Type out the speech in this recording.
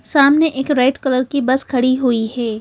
सामने एक red colour की बस खड़ी हुई है।